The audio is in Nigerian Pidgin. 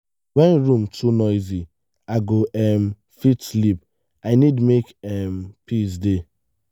when room too noisy i go um fit sleep i need make um peace dey